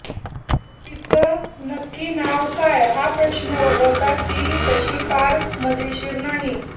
तिचं नक्की नाव काय हा प्रश्न वगळता ती तशी फार मजेशीर नाही